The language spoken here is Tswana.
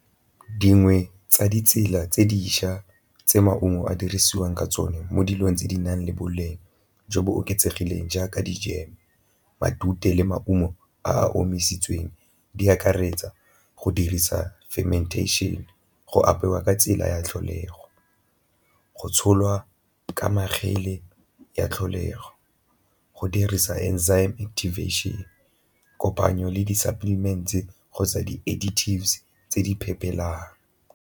Dingwe tsa ditsela tse dišwa tse maungo a dirisiwang ka tsone mo dilong tse di nang le boleng jo bo oketsegileng jaaka dijeme, matute le maungo a a omisitsweng di akaretsa, go dirisa fermentation, go apewa ka tsela ya tlholego, go tsholwa ka ya tlholego, go dirisa activation, kopanyo le di-supplements-e kgotsa di tse di .